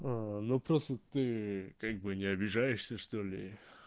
аа ну просто ты как бы не обижаешься что ли